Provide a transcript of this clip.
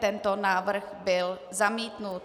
Tento návrh byl zamítnut.